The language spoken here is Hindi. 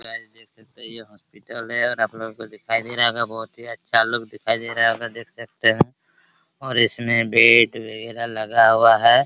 हेलो गाइस देख सकते हैं ये हॉस्पिटल है और आप लोगों को दिखाई दे रहा होगा बहुत ही अच्छा लुक दिखाई दे रहा होगा देख सकते हैं और इसमें बेड वगैरा लगा हुआ है |